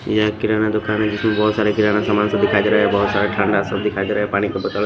ये किराना दुकान है जिसमें बहुत सारे किराना सामान सब दिखाई दे रहा है बहुत सारा ठंडा सब दिखाई दे रहा है पानी --